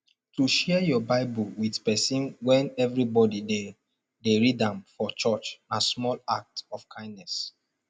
to share your bible with persin when everybody de de read am for church na small act of kindness